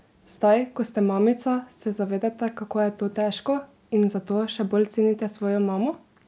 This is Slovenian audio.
Zdaj, ko ste mamica, se zavedate, kako je to težko, in zato še bolj cenite svojo mamo?